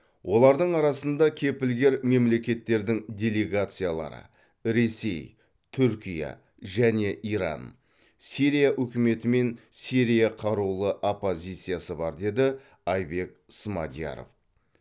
олардың арасында кепілгер мемлекеттердің делегациялары ресей түркия және иран сирия үкіметі мен сирия қарулы оппозициясы бар деді айбек смадияров